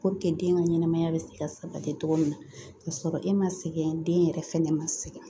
den ka ɲɛnamaya bɛ se ka sabati cogo min na kasɔrɔ e ma sɛgɛn den yɛrɛ fɛnɛ ma sɛgɛn